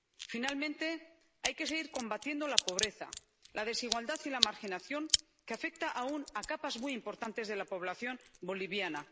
Finalmente, hay que seguir combatiendo la pobreza, la desigualdad y la marginación que afecta aún a capas muy importantes de la población boliviana.